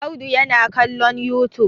Audu yana kallon youtube.